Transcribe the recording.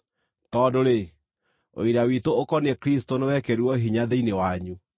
tondũ-rĩ, ũira witũ ũkoniĩ Kristũ nĩwekĩrirwo hinya thĩinĩ wanyu.